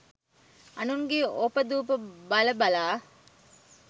අනුන්ගේ ඔප දුප බල බලා